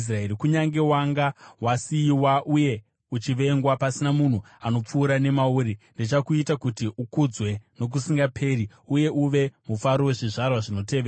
“Kunyange wanga wasiyiwa uye uchivengwa, pasina munhu anopfuura nemauri, ndichakuita kuti ukudzwe nokusingaperi uye uve mufaro wezvizvarwa zvinotevera.